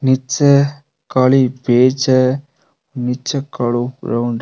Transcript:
नीचे काली पेज है नीचे कालो ग्राउंड है।